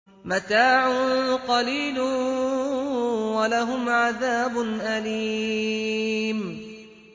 مَتَاعٌ قَلِيلٌ وَلَهُمْ عَذَابٌ أَلِيمٌ